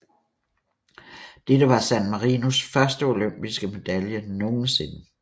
Dette var San Marinos første olympiske medalje nogensinde